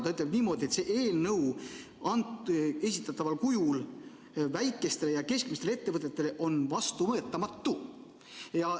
Ta ütleb niimoodi, et see eelnõu esitataval kujul on väikestele ja keskmistele ettevõtetele vastuvõetamatu.